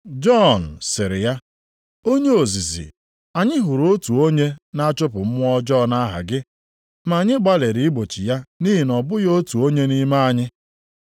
Jọn sịrị ya, “Onye ozizi, anyị hụrụ otu onye na-achụpụ mmụọ ọjọọ nʼaha gị, ma anyị gbalịrị igbochi ya nʼihi na ọ bụghị otu onye nʼime anyị.”